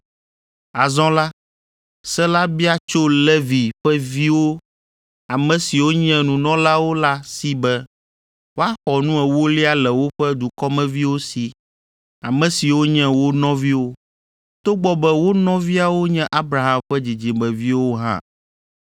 Azɔ la, se la bia tso Levi ƒe viwo ame siwo nye nunɔlawo la si be woaxɔ nu ewolia le woƒe dukɔmeviwo si, ame siwo nye wo nɔviwo, togbɔ be wo nɔviawo nye Abraham ƒe dzidzimeviwo hã.